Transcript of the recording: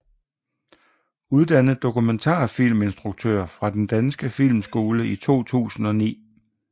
Uddannet dokumentarfilminstruktør fra Den Danske Filmskole i 2009